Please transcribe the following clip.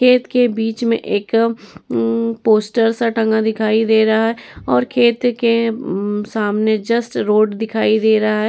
खेत के बीच में एक उम पोस्टर सा टंगा दिखाई दे रहा है और खेत के उम सामने जस्ट रोड दिखाई दे रहा है |